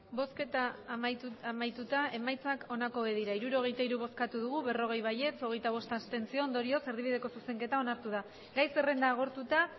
emandako botoak hirurogeita hiru bai berrogei abstentzioak hogeita bost ondorioz erdibideko zuzenketa amaitu da gai zerrenda agortuta